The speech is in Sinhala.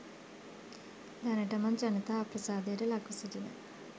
දනටමත් ජනතා අප්‍රසාදයට ලක්ව සිටින